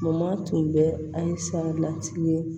Mama tun bɛ a lasigi